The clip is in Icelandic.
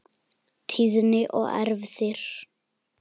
Tíðni og erfðir